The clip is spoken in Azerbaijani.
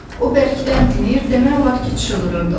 O bərkdən dinir, demək olar ki, çığırırdı.